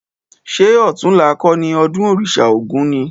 Ṣé ọ̀tunla kọ́ni ọdún òrìṣà ogún ni?